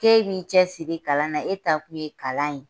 K'e m'i cɛsiri kalan na e taakun ye kalan ye